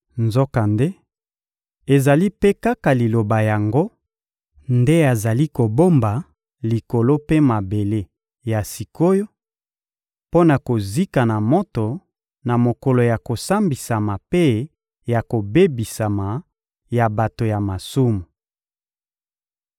Nzokande, ezali mpe kaka Liloba yango nde azali kobomba Likolo mpe mabele ya sik’oyo mpo na kozika na moto, na mokolo ya kosambisama mpe ya kobebisama ya bato ya masumu.